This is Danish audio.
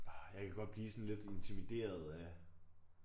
Orh jeg kan godt blive sådan lidt intimideret af